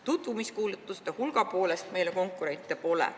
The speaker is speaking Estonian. Tutvumiskuulutuste hulga poolest meile konkurenti pole.